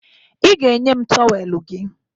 Ị ga-enye m tọweelụ gị